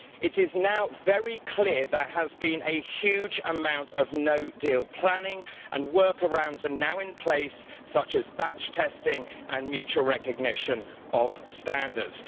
It is now very clear there has been a huge amount of no-deal planning and workarounds are now in place, such as batch testing and mutual recognition of standards.